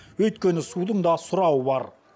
өйткені судың да сұрауы бар